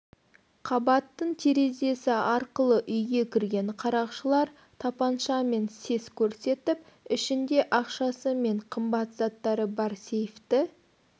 қабаттың терезесі арқылы үйге кірген қарақшылар тапаншамен сес көрсетіп ішінде ақшасы мен қымбат заттары бар сейфті